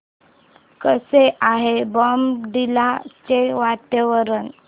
कसे आहे बॉमडिला चे वातावरण